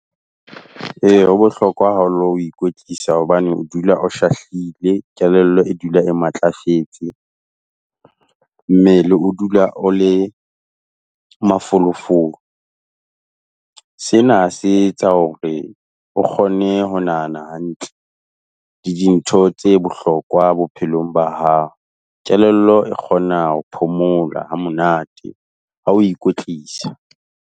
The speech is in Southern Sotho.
Eya ho bohlokwa haholo ho ikwetlisa hobane o dula o shahlile, kelello e dula e matlafetse, mmele o dula o le, mafolofolo. Sena se etsa hore o kgone ho nahana hantle, le dintho tse bohlokwa bophelong ba hao, kelello e kgona ho phomola ha monate ha o ikwetlisa.